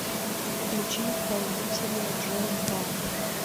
включи исполнителя джон пар